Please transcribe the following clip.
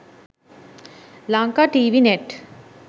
lanka tv net